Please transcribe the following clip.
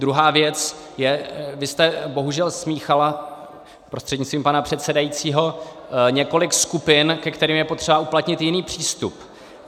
Druhá věc je, vy jste bohužel smíchala prostřednictvím pana předsedajícího několik skupin, ke kterým je potřeba uplatnit jiný přístup.